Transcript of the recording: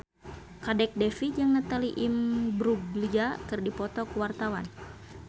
Kadek Devi jeung Natalie Imbruglia keur dipoto ku wartawan